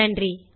நன்றி